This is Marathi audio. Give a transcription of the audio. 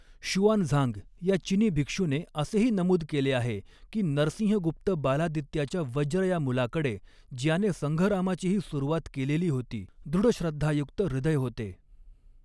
शुआनझांग या चिनी भिक्षूने असेही नमूद केले आहे की, नरसिंहगुप्त बालादित्याच्या वज्र या मुलाकडे ज्याने संघरामाचीही सुरुवात केलेली होती, 'दृढ श्रद्धायुक्त ह्रदय होते.